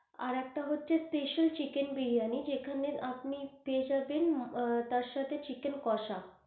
আর একটা হচ্ছে special chicken biryani, যেখানে আপনি পেয়ে যাবেন, তার সাথে চিকেন কষা